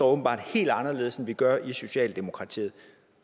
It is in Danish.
åbenbart helt anderledes end vi gør i socialdemokratiet